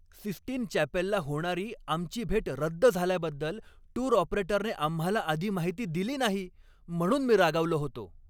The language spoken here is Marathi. सिस्टिन चॅपेलला होणारी आमची भेट रद्द झाल्याबद्दल टूर ऑपरेटरने आम्हाला आधी माहिती दिली नाही म्हणून मी रागावलो होतो.